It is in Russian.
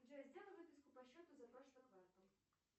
джой сделай выписку по счету за прошлый квартал